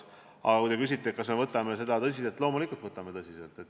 Aga kui te küsite, kas me võtame seda tõsiselt, siis loomulikult võtame seda tõsiselt.